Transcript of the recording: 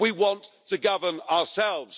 We want to govern ourselves.